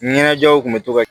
Ɲɛnajɛw tun bɛ to ka